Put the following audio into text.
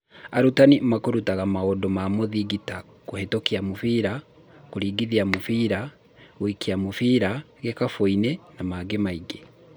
Arutani makũrutaga maũndũ ma mũthingi ta kuhĩtũkia mũbira, kũringithia mũbira, gũikia mũbira gikabũini na mangĩ maingĩ